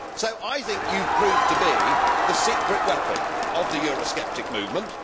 So I think you have proved to be the secret weapon of the Eurosceptic movement.